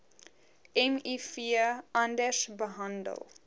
miv anders behandel